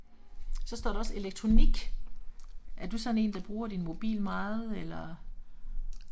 Så står der også elektronik. Er du sådan en der bruger din mobil meget eller?